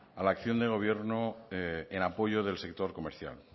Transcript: a la acción del gobierno en apoyo del sector comercial